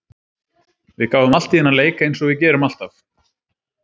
Við gáfum allt í þennan leik eins og við gerum alltaf.